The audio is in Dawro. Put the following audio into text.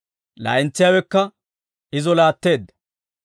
Laa'entsiyaawekka izo laatteedda.